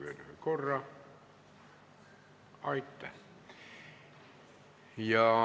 Aitäh!